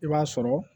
I b'a sɔrɔ